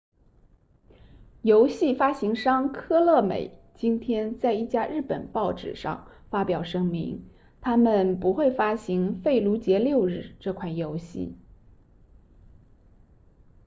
游戏发行商科乐美 konami 今天在一家日本报纸上发表声明他们不会发行费卢杰六日这款游戏